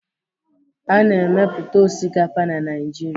A na-emepụta osikapa na Naịjirịa